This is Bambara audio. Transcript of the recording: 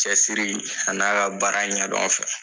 Cɛsiri a n'a ka baara ɲɛdɔn fɛ